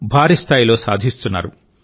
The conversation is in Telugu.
భారీస్థాయిలో సాధిస్తున్నారు